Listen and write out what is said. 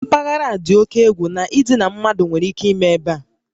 Mpaghara a dị oke egwu na idina mmadụ nwere ike ime ebe a